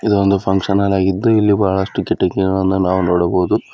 ಇದೊಂದು function hall ಆಗಿದ್ದು ಇಲ್ಲಿ ಬಹಳಷ್ಟು ಕಿಟಕಿಗಳನ್ನ ನಾವು ನೋಡಬಹುದು.